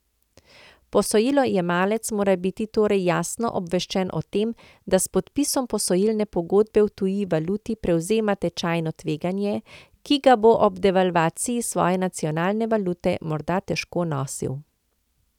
Posojilojemalec mora biti torej jasno obveščen o tem, da s podpisom posojilne pogodbe v tuji valuti prevzema tečajno tveganje, ki ga bo ob devalvaciji svoje nacionalne valute morda težko nosil.